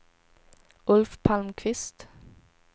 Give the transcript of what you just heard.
Ulf Palmqvist